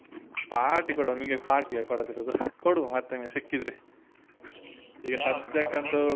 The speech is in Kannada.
Party ಕೊಡುವ ನಿಮ್ಗೆ party ಯ ಕೊಡದಿರುದು ಕೊಡುವ ಮತ್ತೊಮ್ಮೆ ಸಿಕ್ಕಿದ್ರೆ ಈಗ ಸದ್ಯಕ್ಕಂತು .